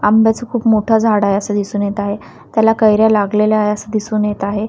आंब्याच खूप मोठा झाड आहे असं दिसून येत आहे त्याला कैऱ्या लागलेल्या आहे असं दिसून येत आहे.